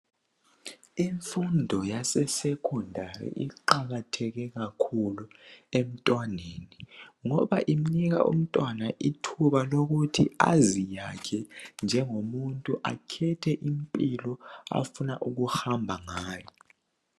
Imfundo yase secondary iqakatheke kakhulu emntwaneni. Ngoba inika umntwana ithuba lokuthi aziyakhe njengomuntu .Akhethe indlela afuna ukuhamba ngayo .